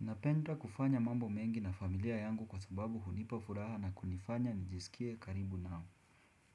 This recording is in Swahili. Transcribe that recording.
Napenda kufanya mambo mengi na familia yangu kwa sababu hunipa furaha na kunifanya nijisikie karibu nao.